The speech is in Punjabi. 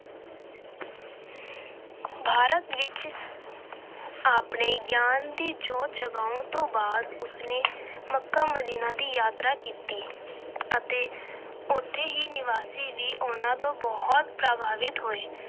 ਭਾਰਤ ਵਿੱਚ ਆਪਣੇ ਗਿਆਨ ਦੀ ਜੋਤ ਜਗਾਉਣ ਤੋਂ ਬਾਅਦ ਉਸ ਨੇ ਮੱਕਾ ਮਦੀਨਾ ਦੀ ਯਾਤਰਾ ਕੀਤੀ ਅਤੇ ਉੱਥੋਂ ਦੇ ਨਿਵਾਸੀ ਵੀ ਉਹਨਾਂ ਤੋਂ ਬਹੁਤ ਪ੍ਰਭਾਵਿਤ ਹੋਏ।